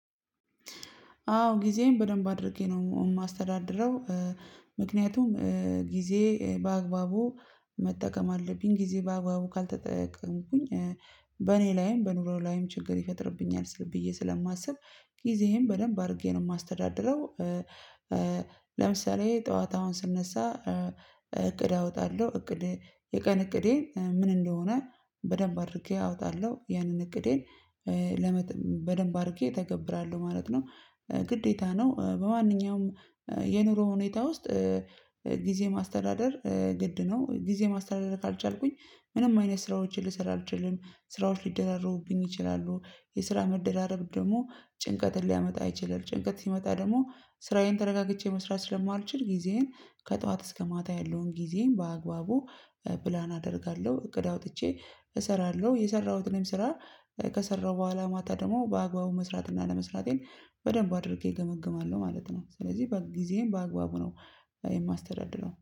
አዎ ጊዜዬን በደንብ አድርጌ ነው ማስተዳድረው። ምክንያቱም ጊዜ በአግባቡ መጠቀም አለብኝ ጊዜ በአግባቡ ካልተጠቀምኩኝ። በኔ ላይም በኑሮ ላይም ችግር ይፈጥርብኛል ስል ብዬ ስለማስብ ጊዜየን በደንብ አድርጌ ነው ማስተዳድረው። ለምሳሌ ጠዋት አውን ስነሳ እቅድ አወጣለሁ እቅድ የቀን እቅዴ ምን እንደሆነ በደንብ አድርጌ አወጣለሁ ያንን እቅዴን። ለመጥብ በደንብ አድርጌ እተገብራለሁ ማለት ነው። ግዴታ ነው በማንኛውም የኑሮ ሁኔታ ውስጥ ጊዜ ማስተዳደር ግድ ነው። ጊዜ ማስተዳደር ካልቻልኩኝ ምንም አይነት ስራዎችን ልሰራ አልችልም። ስራዎች ሊደራረቡብኝ ይችላሉ የስራ መደራረብ ደግሞ ጭንቀትን ሊያመጣ አይችልም ጭንቀት ሲመጣ ደግሞ ስራዬን ተረጋግቼ መስራት ስለማልችል። ጊዜዬን ከጠዋት እስከ ማታ ያለውን ጊዜዬን በአግባቡ ፕላን አደርጋለሁ እቅድ አውጥቼ እሰራለሁ። የሰራሁትንም ስራ ከሰራሁ በኋላ ማታ ደግሞ በአግባቡ መስራት እና አለመስራቴን በደንብ አድርጌ እገመግማለሁ ማለት ነው። ስለዚህ በጊዜየን በአግባቡ ነው የማስተዳድረው